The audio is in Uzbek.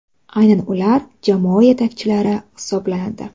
Aynan ular jamoa yetakchilari hisoblanadi.